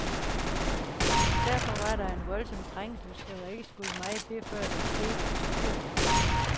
Derfor var der voldsom trængsel, så der skulle ikke meget til, før der skete et styrt.